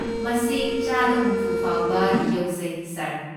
ꯃꯁꯤ ꯆꯥꯗ ꯍꯨꯝꯐꯨ ꯐꯥꯎꯕ ꯌꯧꯖꯩ, ꯁꯥꯔ꯫